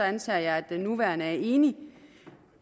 antager jeg at den nuværende er enig